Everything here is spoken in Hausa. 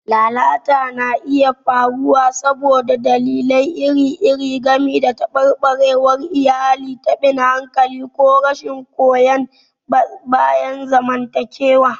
Lalata na iya faruwa saboda dalilai iri-iri, gami da tabarbarewar iyali, taɓin hankali, ko rashin goyon bayan zamantakewa.